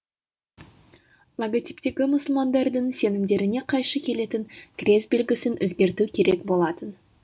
логотиптегі мұсылмандардың сенімдеріне қайшы келетін крест белгісін өзгерту керек болатын